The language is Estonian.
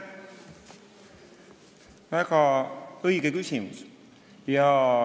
Väga õige küsimus.